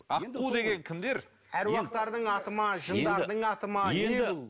аққу деген кімдер аруақтардың аты ма жындардың аты ма